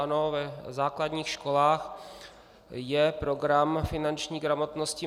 Ano, v základních školách je program finanční gramotnosti.